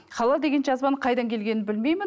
халал деген жазбаның қайдан келгенін білмеймін